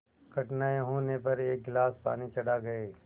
कठिनाई होने पर एक गिलास पानी चढ़ा गए